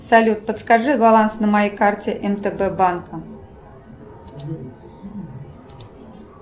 салют подскажи баланс на моей карте мтб банка